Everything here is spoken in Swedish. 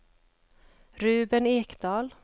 Ruben Ekdahl